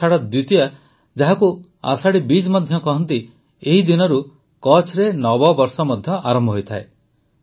ଆଷାଢ଼ ଦ୍ୱିତୀୟା ଯେଉଁ ଯାହାକୁ ଆଷାଢ଼ି ବିଜ୍ ମଧ୍ୟ କହନ୍ତି ଏହି ଦିନରୁ କଚ୍ଛରେ ନବବର୍ଷ ମଧ୍ୟ ଆରମ୍ଭ ହୋଇଥାଏ